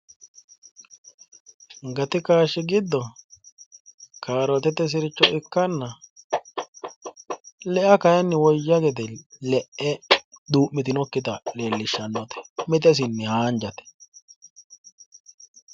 Gati kaashshi giddo kaarootete sircho ikkanna le"a kayiinni woyya gede le'e duu'mitinokkita leellishshannote mite isenni haanjate.